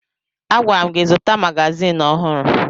Agwara m gị zụta magazin ọhụrụ